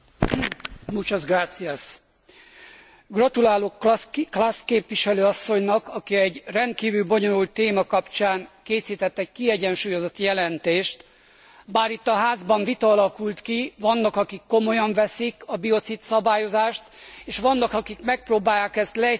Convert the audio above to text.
Gratulálok Klaß képviselő asszonynak, aki egy rendkívül bonyolult téma kapcsán készített egy kiegyensúlyozott jelentést, bár itt a Házban vita alakult ki, vannak akik komolyan veszik a biocid szabályozást és vannak akik megpróbálják ezt leegyszerűsíteni a rágcsálók elleni küzdelemre.